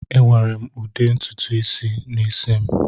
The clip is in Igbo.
Ewere m ude ntutu n'isi.